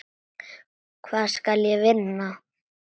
Hvað skal ég vinna?